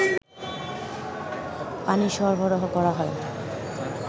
পানি সরবরাহ করা হয়